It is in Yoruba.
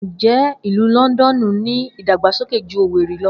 Njẹ Ilu Lọndọnu ni idagbasoke ju Owerri lọ?